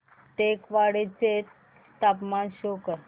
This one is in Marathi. टेकवाडे चे तापमान शो कर